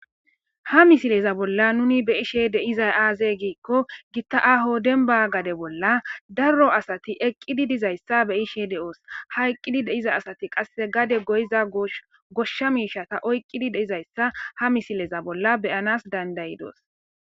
Ha misileza bolla nu be7ishe de7izay aazee giiko gita aaho dembba gade bolla daro asati eqizi dizayta be7ishe dee7oos. Ha eqidi de7ida asati qasse gade goyza goshsha miishshata oyqqidi de7izayita ha misileza bolla be7anas dandda7izoos.